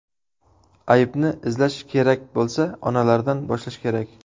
Aybni izlash kerak bo‘lsa, onalardan boshlash kerak.